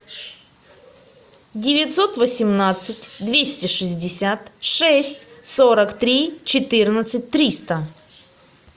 девятьсот восемнадцать двести шестьдесят шесть сорок три четырнадцать триста